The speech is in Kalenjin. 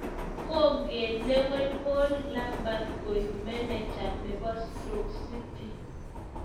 Kogelewen paul Lambert koig Manager nepo stroke city.